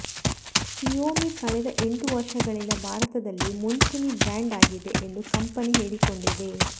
Xiaomi ಕಳೆದ ಎಂಟು ವರ್ಷಗಳಿಂದ ಭಾರತದಲ್ಲಿ ಮುಂಚೂಣಿ ಬ್ರಾಂಡ್ ಆಗಿದೆ ಎಂದು ಕಂಪನಿ ಹೇಳಿಕೊಂಡಿದೆ